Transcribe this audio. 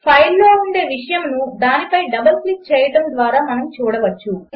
ఫైల్లో ఉండే విషయమును దానిపై డబల్ క్లిక్ చేయడము ద్వారా మనము చూడవచ్చు